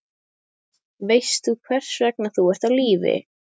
Veist þú hvers vegna þú ert á lífi?